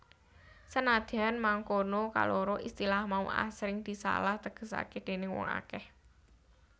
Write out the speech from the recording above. Senadyan mangkono kaloro istilah mau asring disalah tegesaké déning wong akèh